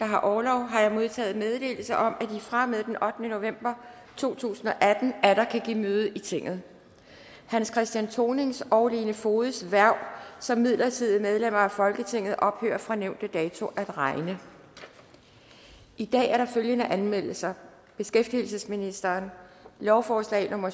har orlov har jeg modtaget meddelelse om at de fra og med den ottende november to tusind og atten atter kan give møde i tinget hans christian thonings og lene fogeds hverv som midlertidige medlemmer af folketinget ophører fra nævnte dato at regne i dag er der følgende anmeldelser beskæftigelsesministeren lovforslag nummer